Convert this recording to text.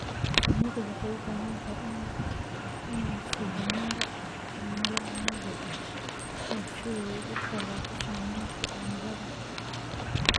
Shinnidu waxay u baahan tahay in la siiyo meelo cimilo caadi ah leh si ay uga fogaato saamaynta cimilada xun.